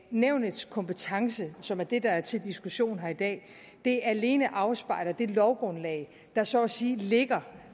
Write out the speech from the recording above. nævnets kompetence som er det der er til diskussion her i dag alene afspejler det lovgrundlag der så at sige ligger